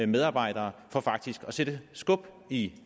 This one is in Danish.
medarbejdere for faktisk at sætte skub i